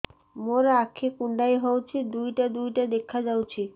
ମୋର ଆଖି କୁଣ୍ଡାଇ ହଉଛି ଦିଇଟା ଦିଇଟା ଦେଖା ଯାଉଛି